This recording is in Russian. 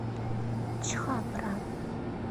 чхапра